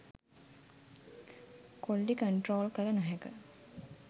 Quality control කල නොහැක.